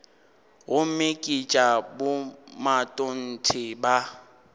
gomme ke tša bomatontshe ba